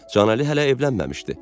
Canəli hələ evlənməmişdi.